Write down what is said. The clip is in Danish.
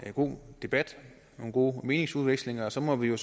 god debat nogle gode meningsudvekslinger og så må vi jo